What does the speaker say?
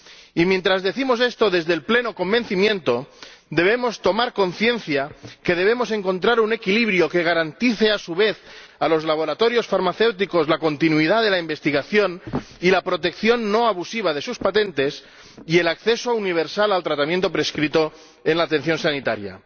Y mientras decimos esto desde el pleno convencimiento, debemos tomar conciencia de que debemos encontrar un equilibrio que garantice a su vez a los laboratorios farmacéuticos la continuidad de la investigación y la protección no abusiva de sus patentes y el acceso universal al tratamiento prescrito en la atención sanitaria.